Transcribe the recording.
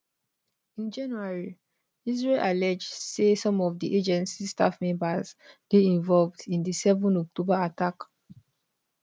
in january israel allege say some of di agency staff members dey involved in di 7 october attack